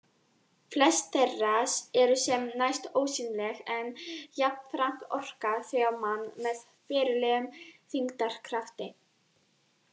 Flest þeirra eru sem næst ósýnileg en jafnframt orka þau á mann með verulegum þyngdarkrafti.